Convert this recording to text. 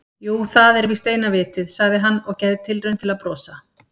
Jú, það er víst eina vitið- sagði hann og gerði tilraun til að brosa.